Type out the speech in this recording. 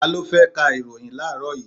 Ta ló fẹ́ ka ìròhìn láàrọ́ yìí?